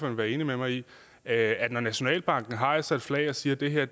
vil være enig med mig i at når nationalbanken hejser et flag og siger at det her